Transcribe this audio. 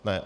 Ne.